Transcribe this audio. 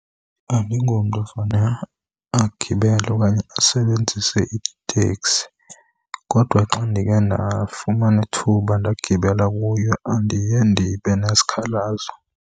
Andingomntu ofane agibele okanye asebenzise iteksi kodwa xa ndikhe ndafumana ithuba ndagibela kuyo andiye ndibe nesikhalazo.